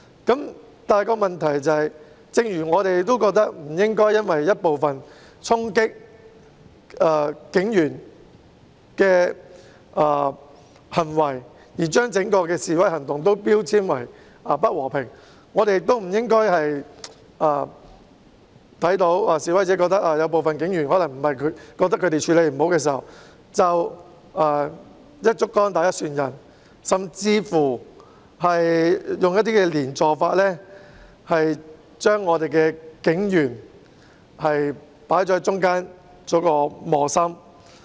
不過，正如我們認為不應該因為一部分衝擊警員的行為而將整個示威行動標籤為不和平，那麼我們亦不應該在看到示威者認為部分警員處理不善時，便"一竹篙打一船人"，甚至採用"連坐法"，將警員放在中間，令他們成為磨心。